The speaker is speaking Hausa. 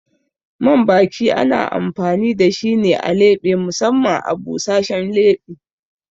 Man baki ana amfani da shi ne a leɓe musamman a busashen leɓe.